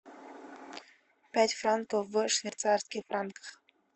пять франков в швейцарских франках